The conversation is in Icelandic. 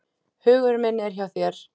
Hugur minn er hjá þér.